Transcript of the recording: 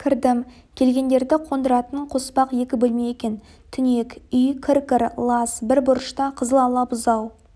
кірдім келгендерді қондыратын қоспақ екі бөлме екен түнек үй кір-кір лас бір бұрышта қызыл ала бұзау